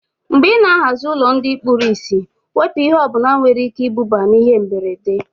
Mgbe ị ná-ahazi ụlọ ndị kpụrụ isi, wepụ ihe ọbụla nwere ike iduba na ihe mberede